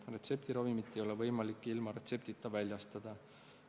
Retseptiravimit ei ole võimalik ilma retseptita väljastada.